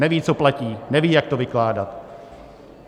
Neví, co platí, neví, jak to vykládat.